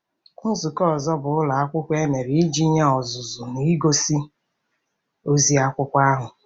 Nzukọ ọzọ bụ ụlọ akwụkwọ e mere iji nye ọzụzụ n'igosi ozi akwụkwọ ahụ.